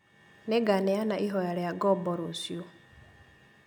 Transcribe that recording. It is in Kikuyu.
Nĩnganeana ihoya rĩa ngombo rũciũ